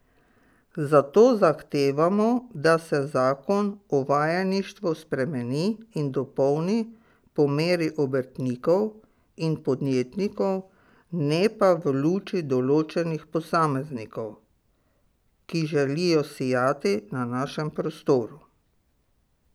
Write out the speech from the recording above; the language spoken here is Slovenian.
Zato zahtevamo, da se zakon o vajeništvu spremeni in dopolni po meri obrtnikov in podjetnikov, ne pa v luči določenih posameznikov, ki želijo sijati na našem prostoru.